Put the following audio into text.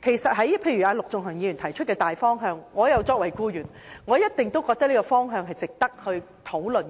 提出的一點是，對於陸頌雄議員提出的大方向，我作為僱員一定認為有關方向值得討論。